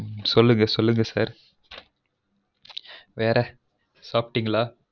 சொல்லுங்க சொல்லுங்க சொல்லுங்க sir வேர சாப்படிங்கலா